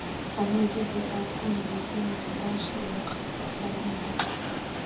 Samee jadwal aad ku nadiifinayso daashka iyo qalabka quudinta.